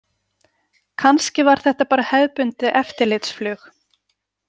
Kannski var þetta bara hefðbundið eftirlitsflug.